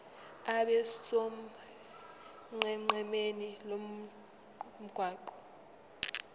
abe sonqenqemeni lomgwaqo